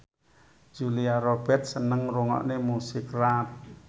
Julia Robert seneng ngrungokne musik rap